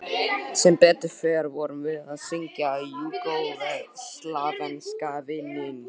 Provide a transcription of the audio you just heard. Sem betur fer vorum við að syngja júgóslavneska vinnings